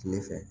Tile fɛ